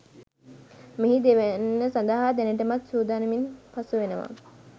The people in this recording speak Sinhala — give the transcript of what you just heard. මෙහි දෙවැන්න සඳහා දැනටමත් සූදානමින් පසුවෙනවා.